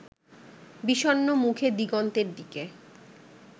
বিষণ্ণ মুখে দিগন্তের দিকে